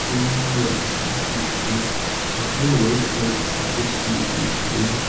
கிழயு ஓரு சேர் இருக்குது நெறய வைட் கலரு சேரு சுத்தி சுத்தி இருக்குது.